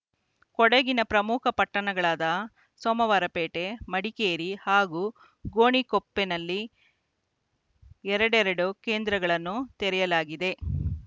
ಕೊಡಗಿನ ಪ್ರಮುಖ ಪಟ್ಟಣಗಳಾದ ಸೋಮವಾರಪೇಟೆ ಮಡಿಕೇರಿ ಹಾಗೂ ಗೋಣಿಕೊಪ್ಪಲಿನಲ್ಲಿ ಎರಡೆರಡು ಕೇಂದ್ರಗಳನ್ನು ತೆರೆಯಲಾಗಿದೆ